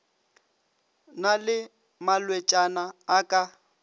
na le malwetšana a ka